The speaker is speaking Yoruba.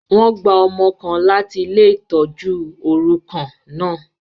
Wọn gba ọmọ kàn làti ile-itọju orukan náà